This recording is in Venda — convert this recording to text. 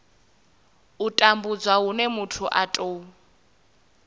tambudzwa hune muthu a tou